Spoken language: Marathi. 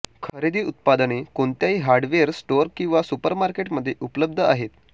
खरेदी उत्पादने कोणत्याही हार्डवेअर स्टोअर किंवा सुपरमार्केट मध्ये उपलब्ध आहेत